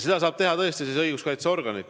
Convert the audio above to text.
Seda saavad teha tõesti õiguskaitseorganid.